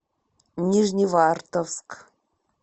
нижневартовск